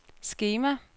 skema